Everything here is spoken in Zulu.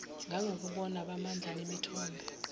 ngangobukhona bamandla nemithombo